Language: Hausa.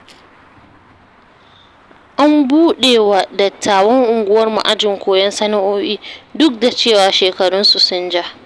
An buɗewa dattawan unguwarmu ajin koyon sana'o'i, duk da cewa shekarunsu sun ja.